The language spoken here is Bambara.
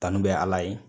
Kanu bɛ ala ye